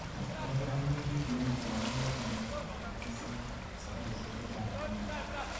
abakora iwendi clinic neinegen nebo kanyoiset sabarishek chechang en wikit